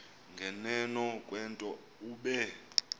nganeno kwento obe